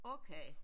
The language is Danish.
Okay